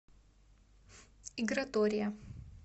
игратория